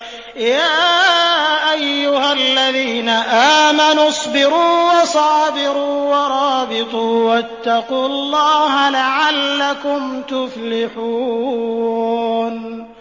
يَا أَيُّهَا الَّذِينَ آمَنُوا اصْبِرُوا وَصَابِرُوا وَرَابِطُوا وَاتَّقُوا اللَّهَ لَعَلَّكُمْ تُفْلِحُونَ